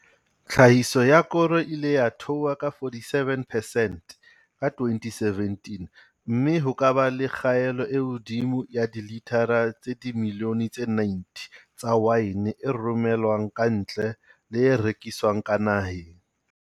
Tlhahiso ya koro e ile ya theoha ka 47 percent ka 2017 mme ho ka ba le kgaelo e hodimo ya dilitara tse dimilione tse 90 tsa waene e romelwang kantle le e rekiswang ka naheng.